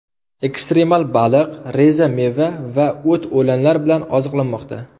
Ekstremal baliq, reza meva va o‘t-o‘lanlar bilan oziqlanmoqda.